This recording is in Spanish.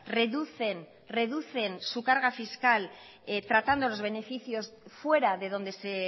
reducen reducen su carga fiscal tratando los beneficios fuera de donde se